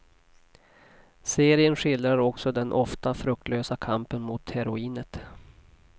Serien skildrar också den ofta fruktlösa kampen mot heroinet.